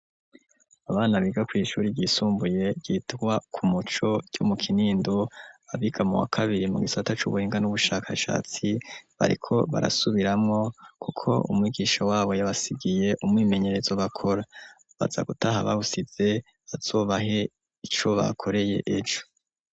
Abana biga ku ishuri ryisumbuye yitwa ku Muco ryo mu kinindo. Abiga mu wa kabiri mu gisata cubuhinga n'ubushakashatsi bariko barasubiramo kuko umwigisha wabo yabasigiye umwimenyerezo bakora, baza gutaha babusize azobahe ico bakoreye ejo.